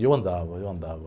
E eu andava, eu andava.